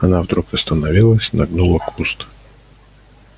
она вдруг остановилась нагнула куст